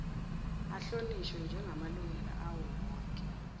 ahlonishwe njegamalungelo awowonke